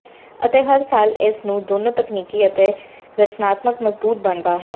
ਅਤੇ ਹਰ ਸਾਲ ਇਸ ਨੂੰ ਦੋਨੋ ਤਕਨੀਕੀ ਅਤੇ ਰਚਨਾਤਮਕ ਮਜ਼ਬੂਤ ਬਣਦਾ ਹੈ